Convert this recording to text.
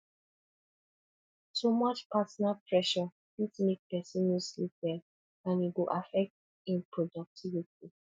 too much personal pressure fit mek pesin no sleep well and e go affect im productivity